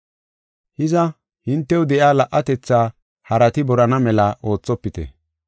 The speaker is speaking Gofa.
Hiza, hintew de7iya la77atetha harati borana mela oothopite.